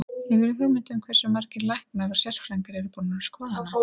Hefurðu hugmynd um hversu margir læknar og sérfræðingar eru búnir að skoða hana?